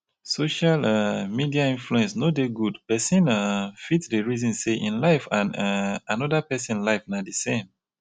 social um media influence no dey good pesin um fit dey resin sey ein life and um anoda pesin life na di same